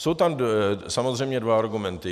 Jsou tam samozřejmě dva argumenty.